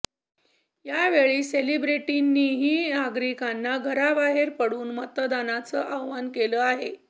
यावेळी सेलिब्रिटींनीही नागरिकांना घराबाहेर पडून मतदानाचं आवाहन केलं आहे